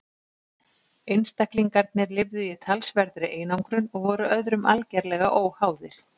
Einstaklingarnir lifðu í talsverðri einangrun og voru öðrum algerlega óháðir.